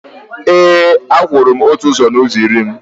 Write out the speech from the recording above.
e, akwụgoro m otu ụzọ n’ụzọ iri.